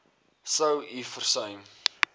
sou u versuim